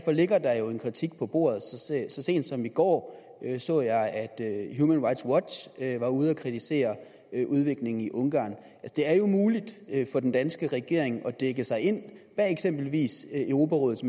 ligger der jo en kritik på bordet så sent som i går så jeg at human rights watch var ude at kritisere udviklingen i ungarn det er jo muligt for den danske regering at dække sig ind bag eksempelvis europarådets